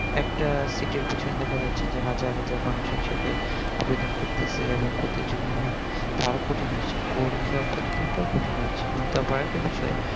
একটা sit এর পিছনে দেখা যাচ্ছে যে হাজার হাজার মানুষ একসাথে আবেদন করতেসে এবং প্রতিযোগিতা আরো কঠিন হচ্ছে এবং পরীক্ষার টাও কঠিন হচ্ছে আবার আরেকটা বিষয়